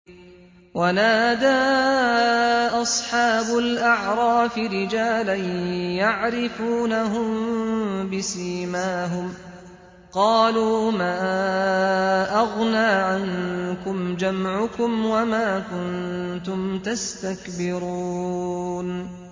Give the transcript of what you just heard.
وَنَادَىٰ أَصْحَابُ الْأَعْرَافِ رِجَالًا يَعْرِفُونَهُم بِسِيمَاهُمْ قَالُوا مَا أَغْنَىٰ عَنكُمْ جَمْعُكُمْ وَمَا كُنتُمْ تَسْتَكْبِرُونَ